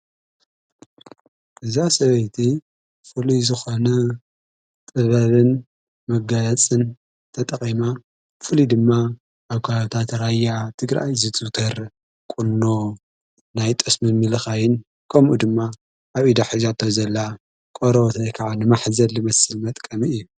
እዛ ሰበይቲ ፍሉይ ዝኾነ ጥበብን መጋየጽን ተጠቒማ ብፉሉይ ድማ ኣብ ከባቢታት ራያ ትግራይ ዝዝውተር ቊኖ ፣ናይ ጠስሚ ምልኻይን ከምኡ ድማ ኣብ ኢዳ ሒዛቶ ዘላ ቆርበት ወይ ከዓ ንማሕዘል ዝመስል መጥቀሚ እዩ።